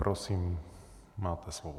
Prosím, máte slovo.